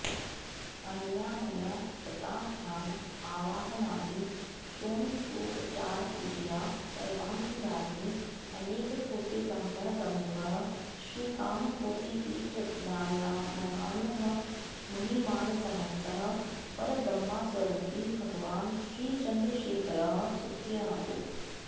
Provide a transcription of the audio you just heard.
अनया मया कृता ध्यान आवाहनादि षोडशोपचारपूजया सर्वान्तर्यामी अनेककोटिब्रह्माण्डप्रमुखः श्रीकामकोटिपीठरत्नायमानः मुनिमानसहंसः परब्रह्मस्वरूपी भगवान् श्रीचन्द्रशेखरः सुप्रीणातु